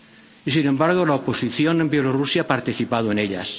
Y, sin embargo, la oposición en Bielorrusia ha participado en ellas.